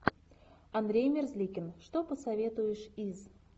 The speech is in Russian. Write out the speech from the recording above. андрей мерзликин что посоветуешь из